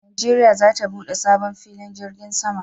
Najeriya za ta bude sabo filin jirgin sama